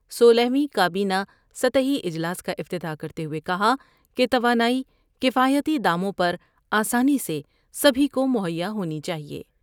سولہویں کا بینہ سطحی جلاس کا افتتاح کرتے ہوئے کہا کہ توانائی کفائیتی داموں پر آسانی سے بھی کو مہیا ہونی چاہئے ۔